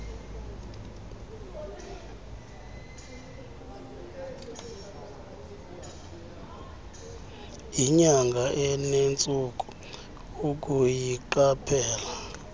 yinyanga enentsuku ukuyiqaphela